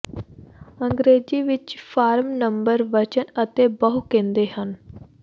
ਅੰਗਰੇਜ਼ੀ ਵਿਚ form number ਵਚਨ ਅਤੇ ਬਹੁ ਕਹਿੰਦੇ ਹਨ